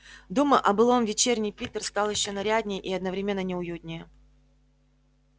думы о былом вечерний питер стал ещё наряднее и одновременно неуютнее